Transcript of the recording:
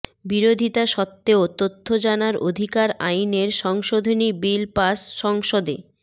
বিরোধিতা সত্ত্বেও তথ্য জানার অধিকার আইনের সংশোধনী বিল পাশ সংসদে